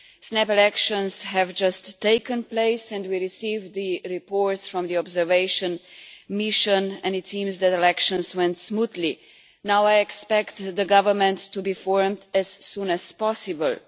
Snap elections have just taken place and we received the reports from the observation mission, and it seems that elections went smoothly. Now I expect the government to be formed as soon as possible.